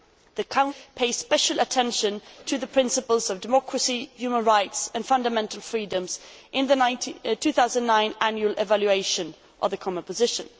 The Council pays special attention to the principles of democracy, human rights and fundamental freedoms in the 2009 annual evaluation of the common position.